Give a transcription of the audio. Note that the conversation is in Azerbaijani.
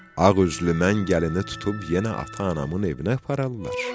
Ağ üzlü mən gəlini tutub yenə ata-anamın evinə apararlar.